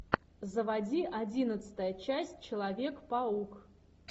заводи одиннадцатая часть человек паук